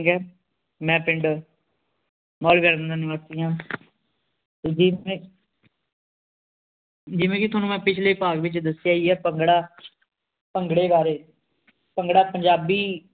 ਮੈ ਪਿੰਡ ਦਾ ਨਿਵਾਸੀ ਹਾਂ ਜਿਵੇਂ ਕਿ ਤੁਹਾਨੂੰ ਮੈ ਪਿਛਲੇ ਭਾਗ ਵਿਚ ਦੱਸਿਆ ਈ ਏ ਭੰਗੜਾ ਭੰਗੜੇ ਬਾਰੇ ਭੰਗੜਾ ਪੰਜਾਬੀ